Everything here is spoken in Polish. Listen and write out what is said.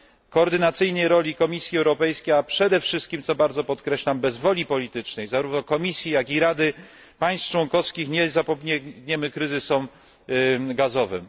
koordynacyjnej roli Komisji Europejskiej, a przede wszystkim co bardzo podkreślam bez woli politycznej zarówno Komisji, jak i Rady oraz państw członkowskich nie zapobiegniemy kryzysom gazowym.